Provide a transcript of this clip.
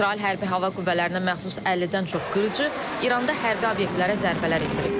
İsrail Hərbi Hava Qüvvələrinə məxsus 50-dən çox qırıcı İranda hərbi obyektlərə zərbələr endirib.